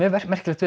merkilegt við